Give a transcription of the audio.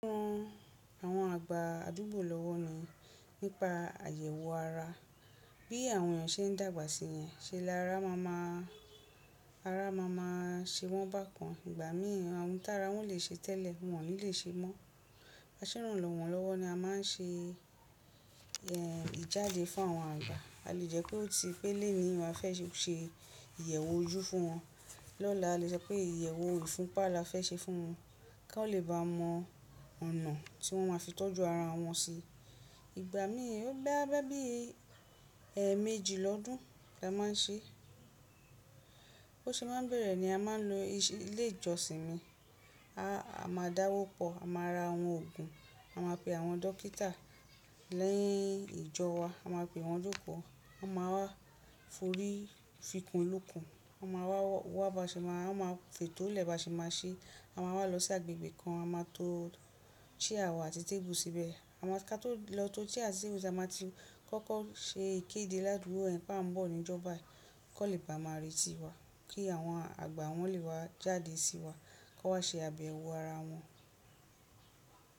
Mo ran àwọn àgbà àdúgbò lọ́wọ́ mi nípa àyẹ̀wò ara. Bí àwọn èèyàn ṣe ń dàgbà sí yẹn, ṣe lára máa máa, ara máa máa ṣe wọ́n bákan. Ìgbà míi àwọn ohun tára wọ́n lè ṣe tẹ́lẹ̀ wọn ò ní lè ṣe mọ́. Bi a se n ranwon lowo ni a maa n se, eh, ijade fún àwọn agba a lè jẹ́ pé òti pé léni yi a fẹ́ ṣe ìyẹ̀wò ojú fún wọn, lọ́la a lè sọ pé ìyẹ̀wò ìfunpá la fẹ́ ṣe fún wọn kí wọ́n lè bá mọ ọ̀nà tí wọ́n máa fi tọ́jú ara wọn sí. Ìgbà mí ò boyá bí, ẹ́eméjì lọ́dún la máa ń ṣe. Bo ṣe máa ń bẹ̀rẹ̀ ni a máa ń lo ilé ìjọsìn mi. A máa dáwọ́pọ̀, a máa ra àwọn òògùn, a máa pe àwọn dókítà. Ni ijo wa, a maa pe won joko. Wọ́n máa wá forí fikùn lukùn, wọ́n máa wá wa ba se maa, won máa fètò lẹ ba ṣe maá ṣe. A máa wá lọ sí agbègbè kan, a máa to chair wa àti tébù síbẹ̀. A máa ká tó lọ tó chair àti tébù, a máa ti kọ́kọ́ ṣe ìkéde ládùgbo yẹ̀n pe a ń bọ̀ ní ìjọ bayi kọ́n lè bá máa retí wa kí àwọn àgbà wọ́n lè ba jáde sí wa, kón wá ṣe àbẹ̀wò ara wọn.